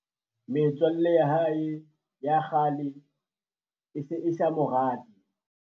metswalle ya hae ya kgale e se e sa mo rate